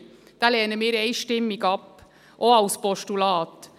Diesen lehnen wir einstimmig ab, auch als Postulat.